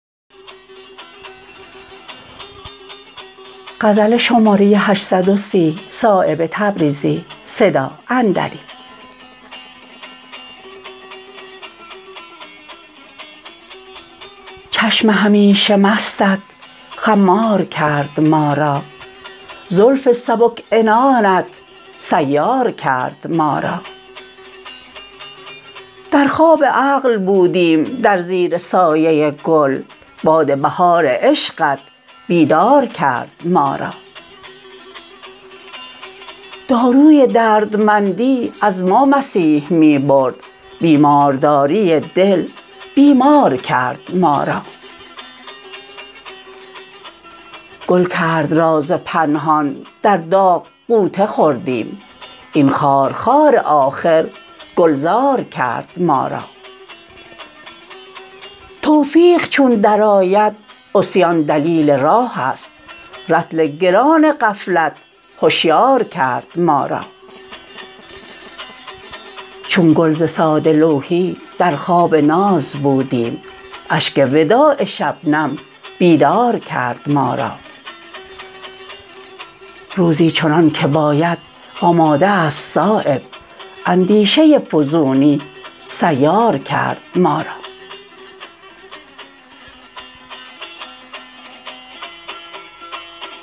چشم همیشه مستت خمار کرد ما را زلف سبک عنانت سیار کرد ما را در خواب عقل بودیم در زیر سایه گل باد بهار عشقت بیدار کرد ما را داروی دردمندی از ما مسیح می برد بیمارداری دل بیمار کرد ما را گل کرد راز پنهان در داغ غوطه خوردیم این خارخار آخر گلزار کرد ما را توفیق چون درآید عصیان دلیل راه است رطل گران غفلت هشیار کرد ما را چون گل ز ساده لوحی در خواب ناز بودیم اشک وداع شبنم بیدار کرد ما را روزی چنان که باید آماده است صایب اندیشه فزونی سیار کرد ما را